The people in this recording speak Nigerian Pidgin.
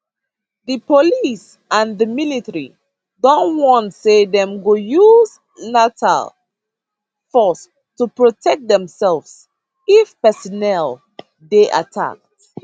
di police and di military don warn say dem go use lethal force to protect demsefs if personnel dey attacked